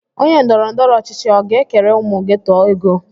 Onye ndọrọndọrọ ọchịchị ọ ga-ekere ụmụ geto ego?